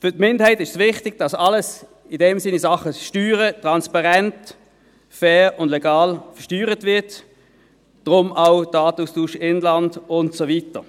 Für die Minderheit ist es wichtig, dass alles in Sachen Steuern transparent, fair und legal versteuert wird, deshalb auch der Datenaustausch im Inland und so weiter.